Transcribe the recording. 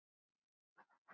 Tómur hugur reikar.